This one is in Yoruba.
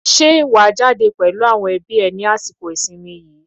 Ṣé wà á jáde pẹ̀lú àwọn ẹbí ẹ ní àsìkò ìsìnmi yìí?